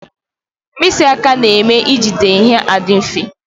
Mkpịsị aka na-eme e jide ihe adị mfe